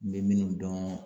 N be min dɔn